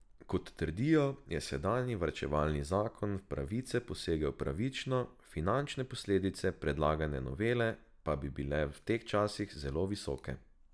Kot trdijo, je sedanji varčevalni zakon v pravice posegel pravično, finančne posledice predlagane novele pa bi bile v teh časih zelo visoke.